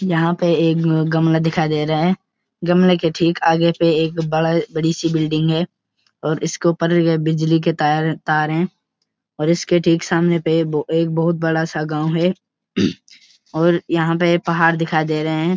यहाँ पे एक ग-गमला दिखाई दे रहे हैं गमले के ठीक आगे पे एक बड़ा-बड़ी सी बिल्डिंग है और इसके ऊपर बिजली के तार-तार हैं और इसके ठीक सामने पे ए-एक बहोत बड़ा-सा गांव है और यहाँ पे पहाड़ दिखाई दे रहे हैं।